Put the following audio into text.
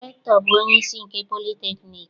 Rektọ bụ onyeisi nke politekniik.